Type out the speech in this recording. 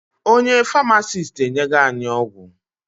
Onye Farmasiti enyego anyị ọgwụ